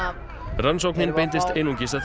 rannsóknin beindist einungis að